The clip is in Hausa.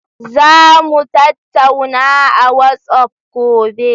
Za mu tattauna a WhatsApp gobe.